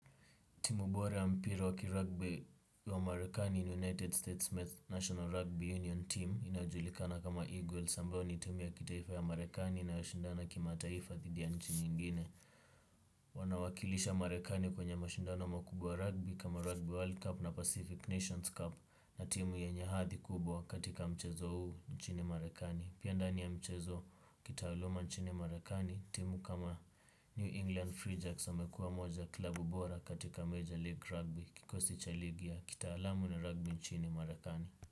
Timu bora ya mpira wa ki rugby wa marekani ni United States National Rugby Union Team inajulikana kama Eagles ambayo ni timu ya kitaifa ya marekani inayoshindana kimataifa thidi ya nchi nyingine. Wanawakilisha marekani kwenye mashindana makubwa ya rugby kama rugby world cup na pacific nations cup na timu yenye hathi kubwa katika mchezo huu nchini marekani. Pia ndani ya mchezo kitaaluma nchini marakani timu kama New England Free Jacks wamekuwa moja klabu bora katika Major League Rugby. Kikosi cha ligi ya kitaalamu na rugby nchini marekani.